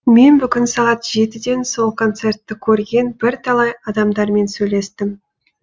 мен бүгін сағат жетіден сол коңцертті көрген бірталай адамдармен сөйлестім